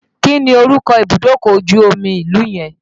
Kí ni orúkọ ibùdókọ̀ ojú omi ìlú yẹn?